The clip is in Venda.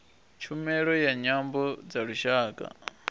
tshumelo ya nyambo dza lushaka